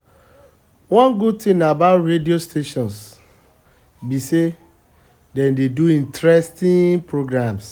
one good thing about radio stations be say dem dey do interesting programs